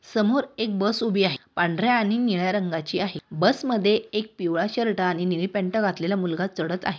समोर एक बस ऊभी आहे पांढर्‍या आणि निळ्या रंगाची आहे बस मध्ये एक पिवळा शर्ट आणि निळी पॅंट घातलेला मुलगा चढत आहे.